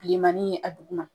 Bilemanii a duguma